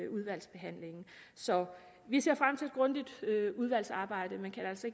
udvalgsbehandlingen så vi ser frem til et grundigt udvalgsarbejde men kan altså